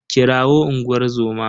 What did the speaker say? Kirawo unguwar zoma.